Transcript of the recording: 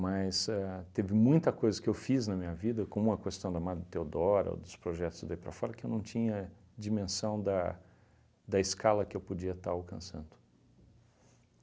a teve muita coisa que eu fiz na minha vida, como a questão da Madre Theodora, ou dos projetos daí para fora, que eu não tinha dimensão da da escala que eu podia estar alcançando.